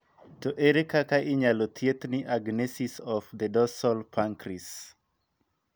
To ere kakak inyalo thiethi Agenesis of the dorsal pancreas?